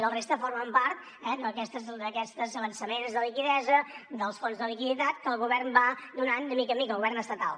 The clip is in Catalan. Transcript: la resta formen part d’aquests avançaments de liquiditat dels fons de liquiditat que el govern va donant de mica en mica el govern estatal